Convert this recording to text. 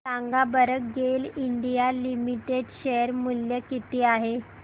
सांगा बरं GAIL India limited share मूल्य किती आहे